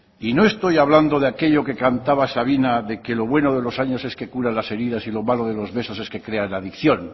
y no estoy hablando de aquello que cantaba sabina de que lo bueno de los años es que cura las heridas y lo malo de los besos es que crean adicción